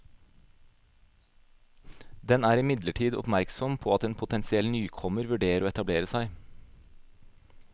Den er imidlertid oppmerksom på at en potensiell nykommer vurderer å etablere seg.